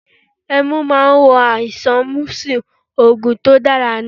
Ẹmu máa ń wo àìsàn mísù, Ògùn tó dára ní.